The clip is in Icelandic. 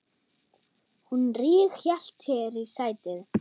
Hún ríghélt sér í sætið.